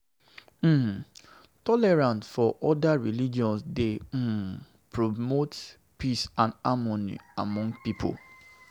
um Tolerance for oda religions dey um promote peace and harmony among pipo.